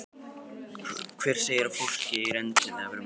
Hver segir að fólk eigi endilega að vera mjótt?